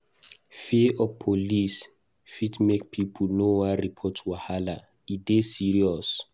Fear of police fit make pipo no want report wahala; e dey serious.